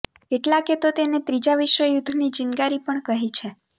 કેટલાકે તો તેને ત્રીજા વિશ્વયુદ્ધની ચિનગારી પણ કહી છે